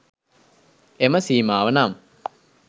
එම සීමාව නම්